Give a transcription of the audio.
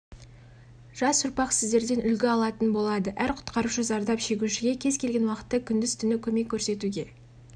жас ұрпақ сіздерден үлгі алатын болады әр құтқарушы зардап шегушіге кез-келген уақытта күндіз-түні көмек көрсетуге